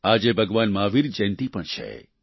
આજે ભગવાન મહાવીર જયંતિ પણ છે